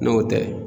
N'o tɛ